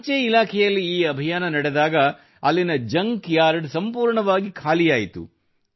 ಅಂಚೆ ಇಲಾಖೆಯಲ್ಲಿ ಈ ಅಭಿಯಾನ ನಡೆದಾಗ ಅಲ್ಲಿನ ಜಂಕ್ ಯಾರ್ಡ್ ಸಂಪೂರ್ಣವಾಗಿ ಖಾಲಿಯಾಯಿತು